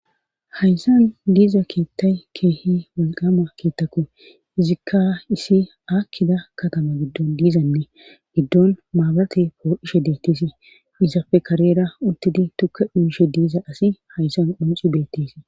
hayssan diiza keettay keehi walqama keettakko izikka isi aakkida katama giddon diizanne giddon maabate poo ishe deettiesi izafe karera uttidi tukka dhuishe diiza asi hayssan qonci deettisi